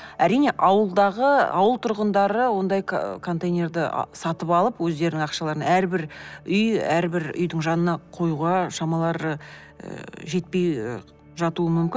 әрине ауылдағы ауыл тұрғындары ондай контейнерді сатып алып өздерінің ақшаларына әрбір үй әрбір үйдің жанына қоюға шамалары ы жетпей ы жатуы мүмкін